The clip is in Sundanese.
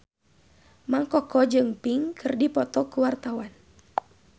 Mang Koko jeung Pink keur dipoto ku wartawan